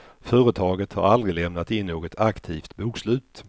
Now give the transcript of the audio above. Företaget har aldrig lämnat in något aktivt bokslut.